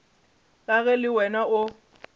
ka ge le wena o